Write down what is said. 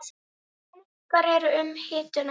Tveir munkar eru um hituna